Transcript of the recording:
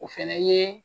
O fɛnɛ ye